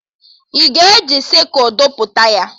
Ị ga-eji sịkụl bọpụta ya?